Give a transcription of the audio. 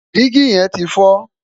Dígì yẹn ti fọ́.